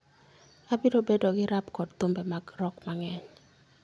Abiro bedo gi rap kod thumbe mag rock mang'eny.